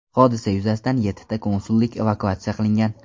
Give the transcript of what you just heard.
Hodisa yuzasidan yettita konsullik evakuatsiya qilingan.